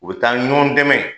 U be taa ɲɔgɔn dɛmɛ